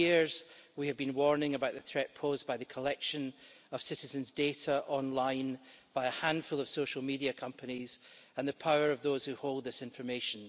For years we have been warning about the threat posed by the collection of citizens' data online by a handful of social media companies and the power of those who hold this information.